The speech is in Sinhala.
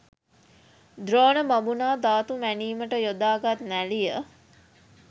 ද්‍රෝණ බමුණා ධාතු මැනීමට යොදාගත් නැළිය